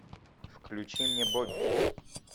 включи мне бобби